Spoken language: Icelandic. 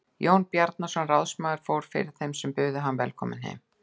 Jón Bjarnason ráðsmaður fór fyrir þeim sem buðu hann velkominn heim.